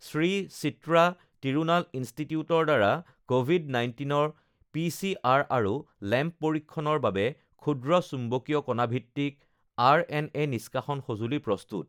শ্ৰী চিত্ৰা তিৰুনাল ইনষ্টিটিউটৰ দ্বাৰা কভিড ১৯ৰ পি চি আৰ আৰু লেম্প পৰীক্ষণৰ বাবে ক্ষূদ্ৰ চুম্বকীয় কণা ভিত্তিক আৰ এন এ নিষ্কাশন সঁজুলি প্ৰস্তুত